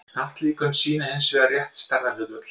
hnattlíkön sýna hins vegar rétt stærðarhlutföll